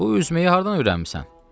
“Bu üzməyi hardan öyrənmisən?”